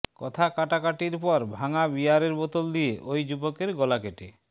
কথাকাটাকাটির পর ভাঙা বিয়ারের বোতল দিয়ে ওই যুবকের গলা কেটে